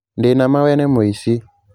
Ndĩ na ma we nĩ mũici